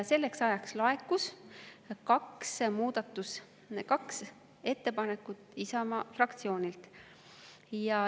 Selleks ajaks laekus kaks muudatusettepanekut Isamaa fraktsioonilt.